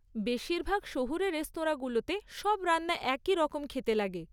বেশিরভাগ শহুরে রেস্তরাঁগুলোতে সব রান্না একই রকম খেতে লাগে।